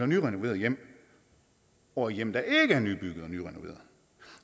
nyrenoverede hjem over i hjem der ikke er nybyggede